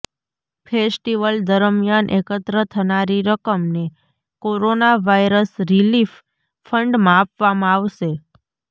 festival દરમિયાન એકત્ર થનારી રકમને કોરોના વાયરસ રિલીફ ફંડમાં આપવામાં આવશે